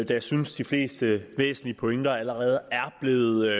jeg synes de fleste væsentlige pointer allerede er blevet